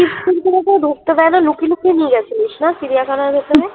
chips নিয়ে তো ঢুকতে দেয় না লুকিয়ে লুকিয়ে নিয়ে গেছিলিস না চিড়িয়াখানার ভেতরে? "